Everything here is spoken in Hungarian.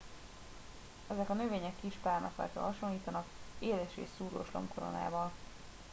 ezek a növények kis pálmafákra hasonlítanak éles és szúrós lombkoronával